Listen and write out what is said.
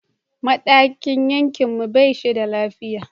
Madakin yankin mu ba shi da lafiya.